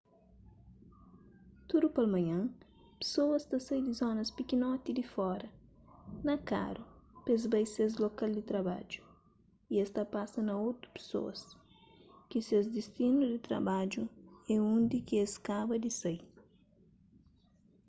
tudu palmanhan pesoas ta sai di zonas pikinoti di fora na karu p-es bai ses lokal di trabadju y es ta pasa na otu pesoas ki ses distinu di trabadju é undi ki es kaba di sai